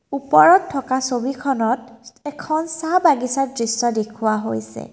ওপৰত থকা ছবিখনত এখন চাহ বাগিছাৰ দৃশ্য দেখুওৱা হৈছে।